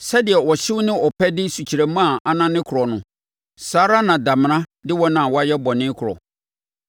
Sɛdeɛ ɔhyew ne ɔpɛ de sukyerɛmma a anane korɔ no, saa ara na damena de wɔn a wɔayɛ bɔne korɔ.